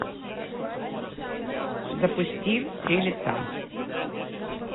запусти три лица